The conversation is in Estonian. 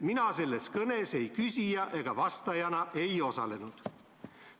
Mina selles kõnes ei küsija ega vastajana ei osalenud.